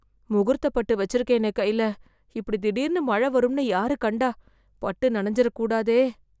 முகூர்த்தப் பட்டு வச்சுருக்கேனே கைல, இப்படி திடீர்னு மழ வரும்னு யாரு கண்டா? பட்டு நனஞ்சுரக் கூடாதே.